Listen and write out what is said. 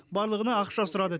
барлығына ақша сұрады